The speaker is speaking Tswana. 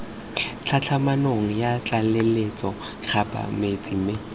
tlhatlhamanong ya tlaleletso kgabetsa mme